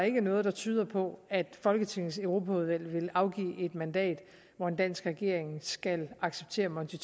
ikke er noget der tyder på at folketingets europaudvalg vil afgive et mandat at en dansk regering skal acceptere monti